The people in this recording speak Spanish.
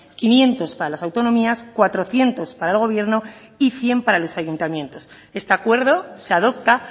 quinientos para las autonomías cuatrocientos para el gobierno y cien para los ayuntamientos este acuerdo se adopta